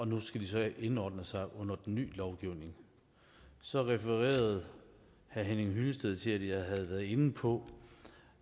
nu skal de så indordne sig under den ny lovgivning så refererede herre henning hyllested til at jeg havde været inde på